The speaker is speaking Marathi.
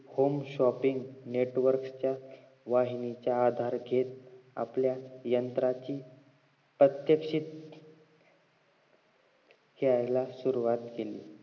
home shopping network च्या वाहिनीचा आधार घेत आपल्या यंत्राची प्रात्यक्षित द्यायला सुरवात केली